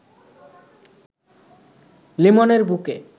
লিমনের বুকে